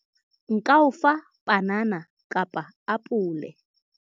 nka o fa panana kapa apole